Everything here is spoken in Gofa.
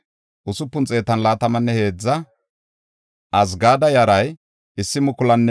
Hizqiyaasa koche gidida Axeera yaray 98;